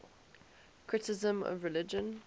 criticism of religion